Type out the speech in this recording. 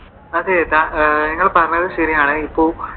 അത് നിങ്ങൾ പറഞ്ഞത് ശരിയാണ്. ഇപ്പോ